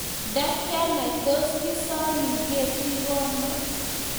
nda kianai tos kiosomin katigono.